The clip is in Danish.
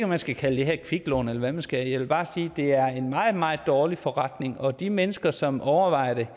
man skal kalde det her et kviklån eller hvad man skal jeg vil bare sige at det er en meget meget dårlig forretning og til de mennesker som overvejer det